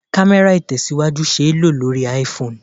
Kamera Itesiwaju ṣé lo lórí IPhone.